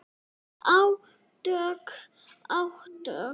Átök, átök.